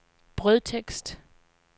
brødtekst